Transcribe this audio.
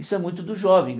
Isso é muito do jovem.